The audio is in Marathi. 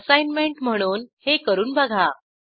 असाईनमेंट म्हणून हे करून बघा